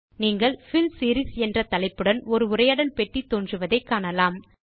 நீங்கள் fill series என்ற தலைப்புடன் ஒரு உரையாடல் பெட்டி தோன்றுவதை காணலாம்